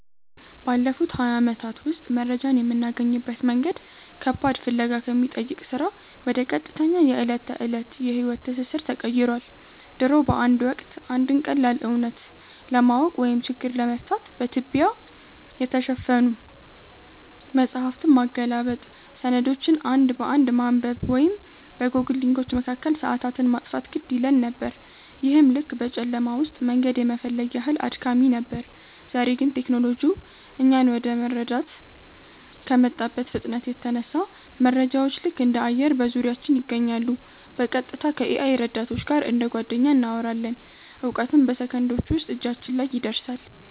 ባለፉት ሃያ ዓመታት ውስጥ መረጃን የምናገኝበት መንገድ ከባድ ፍለጋ ከሚጠይቅ ሥራ ወደ ቀጥተኛ የዕለት ተዕለት የሕይወት ትስስር ተቀይሯል። ድሮ በአንድ ወቅት፣ አንድን ቀላል እውነት ለማወቅ ወይም ችግር ለመፍታት በትቢያ የተሸፈኑ መጻሕፍትን ማገላበጥ፣ ሰነዶችን አንድ በአንድ ማንበብ ወይም በጎግል ሊንኮች መካከል ሰዓታትን ማጥፋት ግድ ይለን ነበር፤ ይህም ልክ በጨለማ ውስጥ መንገድ የመፈለግ ያህል አድካሚ ነበር። ዛሬ ግን ቴክኖሎጂው እኛን ወደ መረዳት ከመጣበት ፍጥነት የተነሳ፣ መረጃዎች ልክ እንደ አየር በዙሪያችን ይገኛሉ—በቀጥታ ከ-AI ረዳቶች ጋር እንደ ጓደኛ እናወራለን፣ እውቀትም በሰከንዶች ውስጥ እጃችን ላይ ይደርሳል።